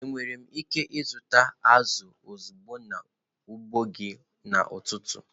Enwere m ike ịzụta azụ̀ ozugbo n'ugbo gị n'ụtụtụ?